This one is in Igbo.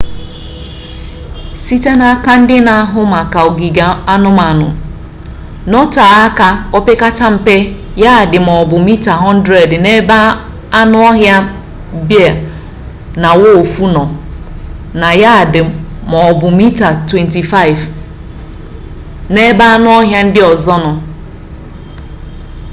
site n'aka ndị na-ahụ maka ogige anụmanụ nọtee aka opekata mpe yadị maọbụ mita 100 n'ebe anụ ọhịa bea na wulfu nọ na yadị maọbụ mita 25 n'ebe anụ ọhịa ndị ọzọ niile nọ